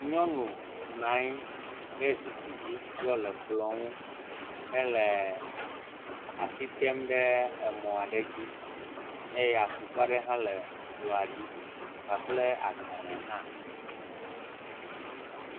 Nyɔnu nɔ anyi ɖe zikpui dzi yɔle kplɔ ŋu hele asi tem ɖe emɔ aɖe dzi eye atukpa aɖe hã le ekplɔa dzi kpakple agbalẽ hã.